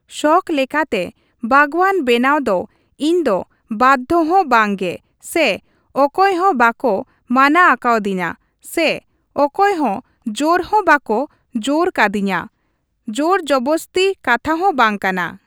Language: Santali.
ᱥᱚᱠ ᱞᱮᱠᱟᱛᱮ ᱵᱟᱜᱽᱣᱟᱱ ᱵᱮᱱᱟᱣ ᱫᱚ ᱤᱧ ᱫᱚ ᱵᱟᱫᱽᱫᱷᱚ ᱦᱚᱸ ᱵᱟᱝᱜᱮ ᱥᱮ ᱚᱠᱚᱭ ᱦᱚᱸ ᱵᱟᱠᱚ ᱢᱟᱱᱟ ᱟᱠᱟᱫᱤᱧᱟᱹ ᱥᱮ ᱚᱠᱚᱭ ᱦᱚᱸ ᱡᱳᱨ ᱦᱚᱸ ᱵᱟᱠᱚ ᱡᱳᱨᱟᱠᱟᱫᱤᱧᱟᱹ᱾ ᱡᱳᱨᱡᱚᱵᱚᱥᱛᱤ ᱠᱟᱛᱷᱟ ᱦᱚᱸ ᱵᱟᱝ ᱠᱟᱱᱟ᱾